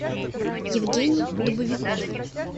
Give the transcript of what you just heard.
евгений дубовиков